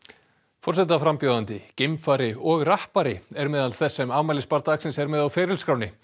forsetaframbjóðandi geimfari og rappari er meðal þess sem afmælisbarn dagsins er með á ferilskránni